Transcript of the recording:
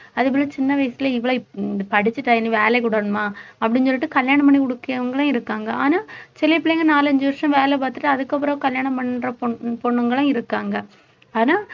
அதே போல சின்ன வயசுல இவ்வளவு உம் படிச்சு வேலைக்கு விடணுமா அப்படின்னு சொல்லிட்டு கல்யாணம் பண்ணி கொடுக்கிறவங்களும் இருக்காங்க ஆனா சில பிள்ளைங்க நாலஞ்சு வருஷம் வேலை பார்த்துட்டு அதுக்கப்புறம் கல்யாணம் பண்ற பொண்~ பொண்ணுங்களும் இருக்காங்க ஆனா